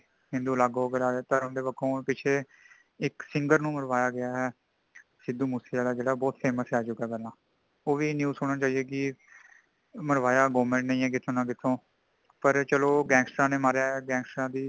ਹਿੰਦੂ ਅਲੱਗ ਹੋ ਕੇ ਲੜ੍ਹ ਰਹੇ ਨੇ, ਧਰਮ ਦੇ ਪੱਖੋਂ ਪਿੱਛੇ ਇਕ singer ਨੂੰ ਮਰਵਾਇਆ ਗਈਆਂ ਹੈ |ਸਿੱਧੂ ਮੂਸੇਵਾਲਾ ਜੋ ਬਹੁਤ famous ਹੈ ਅੱਜ ਕਲ ਏਨਾ ,ਓਵੀ news ਸੁੰਨੰ ਨੂੰ ਆਇ ਹੈ ਕੀ ,ਮਰਵਾਇਆ government ਨੇ ਹੀ ਹੈ ਕਿੱਥੇ ਨਾ ਕਿੱਥੇ ,ਪਰ ਚੱਲੋ gangster ਨੇ ਮਰਵਾਇਆ ਹੈ gangster ਦੀ